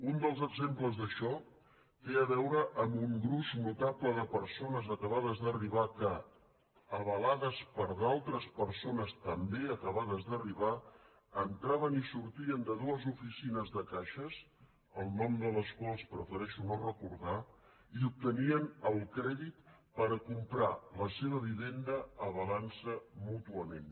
un dels exemples d’això té a veure amb un gruix notable de persones acabades d’arribar que avalades per altres persones també acabades d’arribar entraven i sortien de dues oficines de caixes el nom de les quals prefereixo no recordar i obtenien el crèdit per comprar la seva vivenda avalantse mútuament